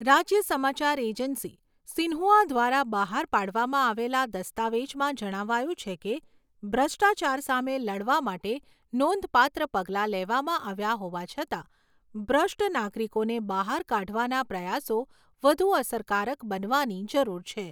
રાજ્ય સમાચાર agency Xinhua દ્વારા બહાર પાડવામાં આવેલા દસ્તાવેજમાં જણાવાયું છે કે ભ્રષ્ટાચાર સામે લડવા માટે નોંધપાત્ર પગલાં લેવામાં આવ્યા હોવા છતાં, ભ્રષ્ટ નાગરિકોને બહાર કાઢવાના પ્રયાસો વધુ અસરકારક બનવાની જરૂર છે.